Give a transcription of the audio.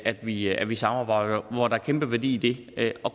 at vi at vi samarbejder og hvor der kæmpe værdi i det